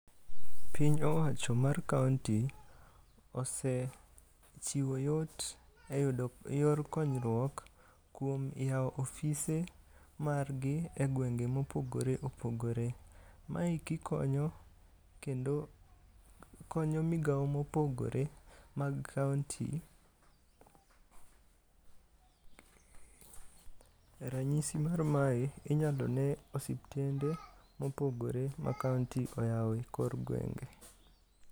Piny owacho mar kaonti osechiwo yot e yudo yor konyruok kuom yawo ofise margi e gwenge mopogore opogore. Maeki konyo kendo konyo migao mopogore mag kaonti. Ranyisi mar mae inyalo ne osiptende mopogore ma kaonti oyao e kor gwenge.